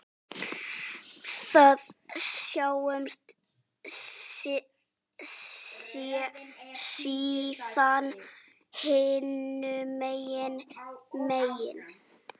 Við sjáumst síðar hinum megin.